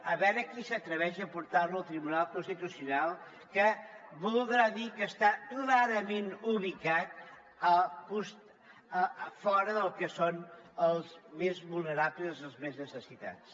a veure qui s’atreveix a portar lo al tribunal constitucional que voldrà dir que està clarament ubicat fora del que són els més vulnerables i els més necessitats